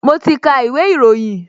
Mo ti ka ìwé ìròyìn